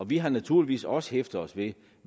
vi har naturligvis også hæftet os ved